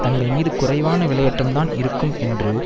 தங்கள் மீது குறைவான விலையேற்றம்தான் இருக்கும் என்று